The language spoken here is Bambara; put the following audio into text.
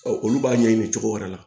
olu b'a ɲɛɲini cogo wɛrɛ la